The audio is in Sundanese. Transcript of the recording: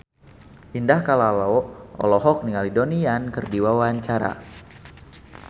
Indah Kalalo olohok ningali Donnie Yan keur diwawancara